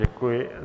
Děkuji.